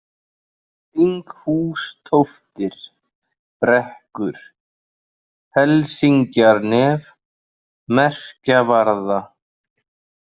Þinghústóftir, Brekkur, Helsingjanef, Merkjavarða